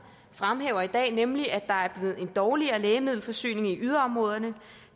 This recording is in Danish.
fremhæver i dag nemlig at der er blevet en dårligere lægemiddelforsyning i yderområderne